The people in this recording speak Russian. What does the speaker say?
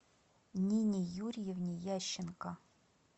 нине юрьевне ященко